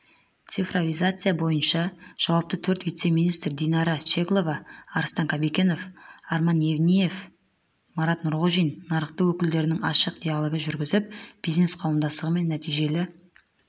цифровизация бойынша жауапты төрт вице-министр динара щеглова арыстан қабикенов арман евниев марат нұрғожин нарық өкілдерімен ашық диалог жүргізіп бизнес қауымдастығымен нәтижелі